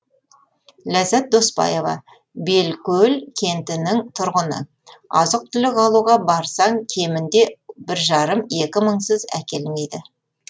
ләззат доспаева белкөл кентінің тұрғыны азық түлік алуға барсаң кемінде бір жарым екі мыңсыз әкелмейді